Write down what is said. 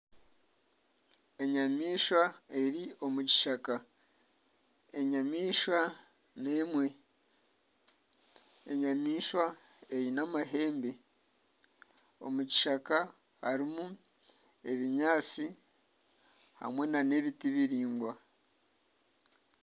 Enyamaishwa eri omu kishaka enyamaishwa n'emwe, enyamishwa eine amahembe omu kishaka harimu ebinyaatsi hamwe na n'ebiti biraingwa.